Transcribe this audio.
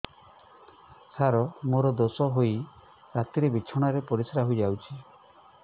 ସାର ମୋର ଦୋଷ ହୋଇ ରାତିରେ ବିଛଣାରେ ପରିସ୍ରା ହୋଇ ଯାଉଛି